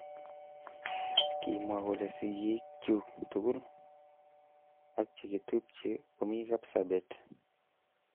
Kimwa kole sikik chuk tugul.ak chekitubje komi Kapsabet.